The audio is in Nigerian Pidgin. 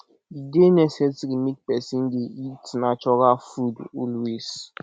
e dey necessary make pesin dey eat natural food always